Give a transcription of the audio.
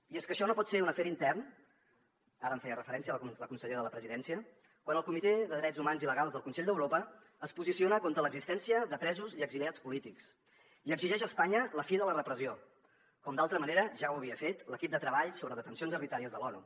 i és que això no pot ser un afer intern ara en feia referència la consellera de la presidència quan el comitè de drets humans i legals del consell d’europa es posiciona contra l’existència de presos i exiliats polítics i exigeix a espanya la fi de la repressió com d’altra manera ja havia fet l’equip de treball sobre detencions arbitràries de l’onu